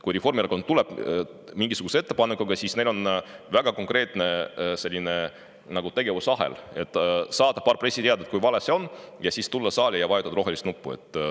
Kui Reformierakond tuleb mingisuguse ettepanekuga, siis on väga konkreetne tegevusahel: saata paar pressiteadet, kui vale see on, siis tulla saali ja vajutada rohelist nuppu.